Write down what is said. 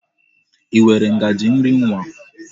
I nwere ngaji nri nwa?